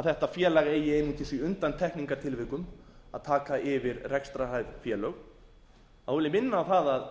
að þetta félag eigi einungis í undantekningartilvikum að taka yfir rekstrarhæf félög vil ég minna á það að við